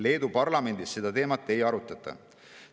Leedu parlamendis seda teemat ei arutata.